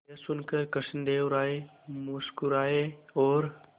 यह सुनकर कृष्णदेव राय मुस्कुराए और